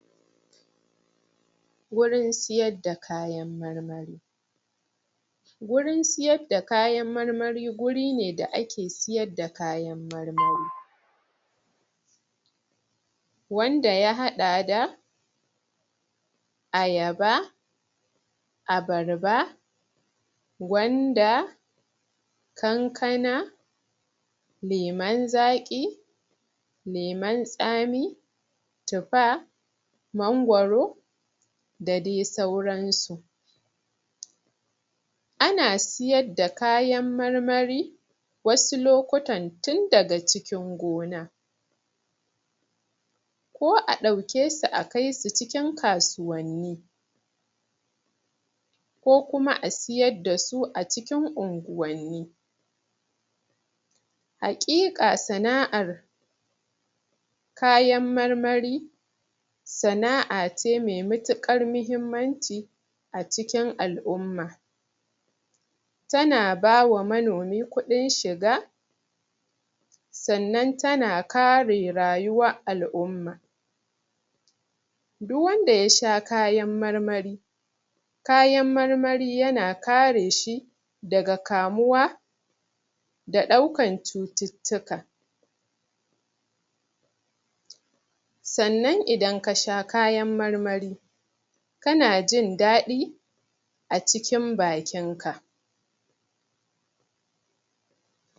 a Nanjeriyan mu manoman mu suna so suga ƙarin ƙarin ƙaruwan tsaran mu zan ce basu basu samu su riƙa yin yalo dun wanan yalon nan dan idan ganyen shukan ka yanayin yalo wani lokaci ana samu ne gurin taki yawan sa takin bola yakan sa shuka yayi yalo abun da yasa lokaci yayi takin bature yafi kyau indama shi takin takin gargajiya ɗin takin bolane an fiso asashi a a filin ne kafin ayi noma yakan ɗau shekara uku huɗu ,biyar daina aiki shiyasa alokacin anfi so asa irin takin kashen doki kashin shanu kashin kaji sunfi kyau dole muriƙa samun lokacin muna koya ma dan'uwan mu inda suyi noma as mu'ala idan sunyi noma mu ɗau wani tsari wanda dole za'a rika koya musu suna yin noma suna samun abunda zasu ci dun noman nan shine ya zamo babban abu agarem sanan kuma musan yanda zamu riƙa yi a gonan mu idan noma ya kama mu a najeriya ma noman na najeriya sunna anfani da takin gargajiya saboda shi noma da ko takin gargajiyan da bai kamata ba ana sashi a shuka saboda shuka yana buƙatan taki ne me kyau pure taki ,takin bature indorama fatalaiza gasu nan dai fatalaiza musu kyau amma wasu na anfani da takin bola suna sawa a ƙasa a niman su takin bola takin bola anfi so a sashi da a gona tun kafin ayi noman saboda noman da za'a yi takin bola yakan zauna acikin jikin ƙasa shekara uku, shekara hudu yana aiki amma indai akace za'a za'a sashi a shuka shukan yakanyi ja ya ke ɓata shuka shiyasa ba'a so ana sama ba'aso ana sama shinkafa takin bola ja yakeyi inayin ja sosai kuma wan lokaci shinkafa yana buƙatan ruwa amma idan ruwa yayi yawa ama da ruwan yawa ya kan bukata yana yana um yana shanye shinkafan har saman shinkafan yana kaiwa dan shinkafan ya kwanta yana lalacewa kuma wani lokaci shinkafan anaso ariƙa shukashi agurin da ke da ruwa ne amma kuma ruwan ba'aso ruwan yayi yawa